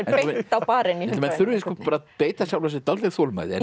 á barinn í held maður þurfi að beita sjálfan sig dálítilli þolinmæði en